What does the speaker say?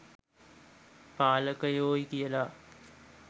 පාලකයෝයි කියලා.